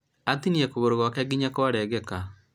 atinia kũgũrũ gwake nginya kwarengeka